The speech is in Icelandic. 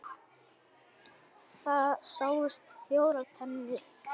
Það sáust fjórar tennur.